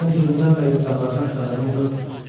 Sənin zülmdən və istirablardan xəbərin yoxdur.